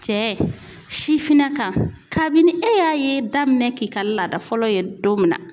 Cɛ sifinnaka kabini e y'a ye daminɛ k'i ka laada fɔlɔ ye don min na